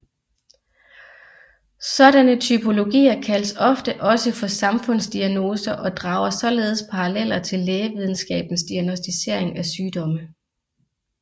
Sådanne typologier kaldes ofte også for samfundsdiagnoser og drager således paralleler til lægevidenskabens diagnosticering af sygdomme